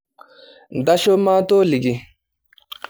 Ntasho maatoliki.